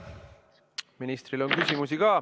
Ministrile on ka küsimusi.